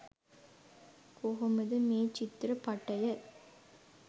කොහොමද මේ චිත්‍රපටය